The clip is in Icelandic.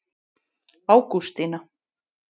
Ágústína